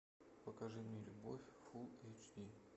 покажи мне любовь фул эйч ди